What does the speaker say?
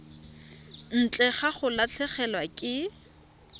ntle ga go latlhegelwa ke